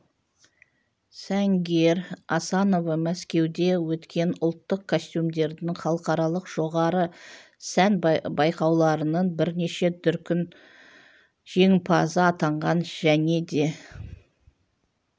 сәнгер асанова мәскеуде өткен ұлттық костюмдердің халықаралық жоғары сән байқауларының бірнеше дүркін жеңімпазы атанған және де